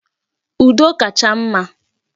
Udo kacha mma.